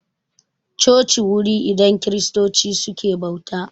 Coci wuri idan kiristoci suke bauta